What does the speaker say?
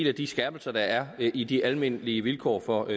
af de skærpelser der er i de almindelige vilkår for